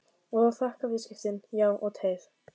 Og þakka viðskiptin, já og teið.